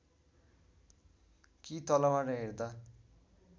कि तलबाट हेर्दा